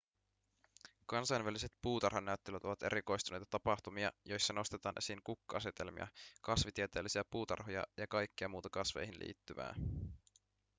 kansainväliset puutarhanäyttelyt ovat erikoistuneita tapahtumia joissa nostetaan esiin kukka-asetelmia kasvitieteellisiä puutarhoja ja kaikkea muuta kasveihin liittyvää